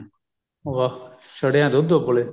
ਵਾਹ ਛੜਿਆਂ ਦਾ ਦੁੱਧ ਉਬਲੇ